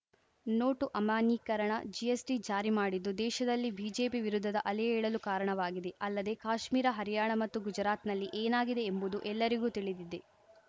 note ಅಮಾನ್ಯೀಕರಣ GST ಜಾರಿ ಮಾಡಿದ್ದು ದೇಶದಲ್ಲಿ ಬಿಜೆಪಿ ವಿರುದ್ದದ ಅಲೆ ಏಳಲು ಕಾರಣವಾಗಿದೆ ಅಲ್ಲದೇ ಕಾಶ್ಮೀರ ಹರಿಯಾಣ ಮತ್ತು ಗುಜರಾತ್‌ ನಲ್ಲಿ ಏನಾಗಿದೆ ಎಂಬುದು ಎಲ್ಲರಿಗೂ ತಿಳಿದಿದೆ